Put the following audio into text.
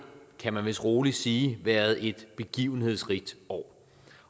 kan man vist rolig sige været et begivenhedsrigt år